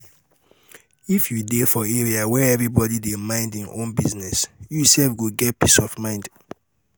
if you dey for area where everybody dey mind im own business you sef go get peace of mind